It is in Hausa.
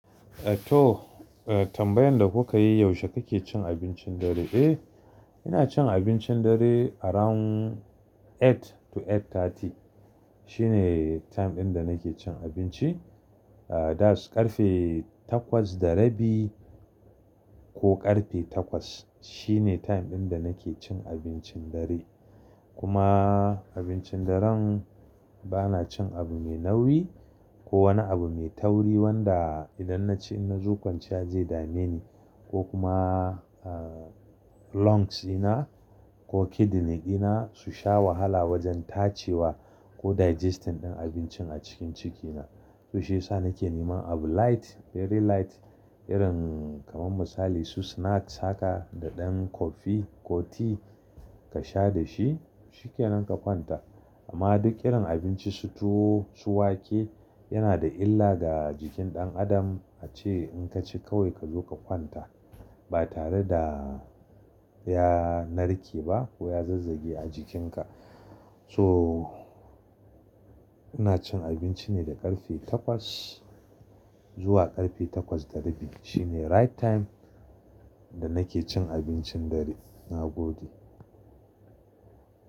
Eh to, eh tambayan da kuka yi yaushe kake cin abincin dare? Eh ina cin abincin dare around eight to eight thirty shine time ɗin da nake cin abinci. Ah that's ƙarfe takwas da rabi ko ƙarfe takwas shine time ɗin da nake cin abincin dare. Kuma abincin daren bana cin abu mai nauyi ko wani abu mai tauri wanda idan naci in na zo kwanciya ze dame ni ko kuma ah lungs dina ko kidney ɗina su sha wahala wajen tace wa ko digestion ɗin abincin a cikin ciki na. To shiyasa nake neman abu light very light irin kamar misali su snacks haka da ɗan coffee ko tea ka sha da shi shikenan ka kwanta. Amma duk irin abinci su tuwo, su wake yana da illa ga jikin ɗan adam ace in ka ci kawai ka zo ka kwanta ba tare da ya narke ba ko ya zazzage a jikinka. So ina cin abinci ne da ƙarfe takwas zuwa ƙarfe takwas da rabi shine right time da nake cin abincin dare. Na gode.